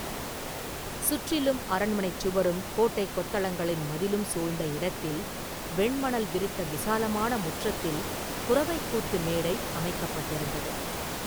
சுற்றிலும் அரண்மனைச் சுவரும் கோட்டை கொத்தளங்களின் மதிலும் சூழ்ந்த இடத்தில், வெண் மணல் விரித்த விசாலமான முற்றத்தில் குரவைக் கூத்து மேடை அமைக்கப்பட்டிருந்தது.